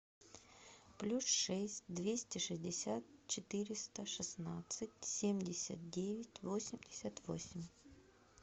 плюс шесть двести шестьдесят четыреста шестнадцать семьдесят девять восемьдесят восемь